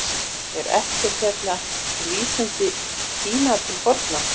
Er ekkert hérna um vísindi í Kína til forna?